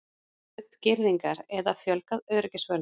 Sett upp girðingar eða fjölgað öryggisvörðum?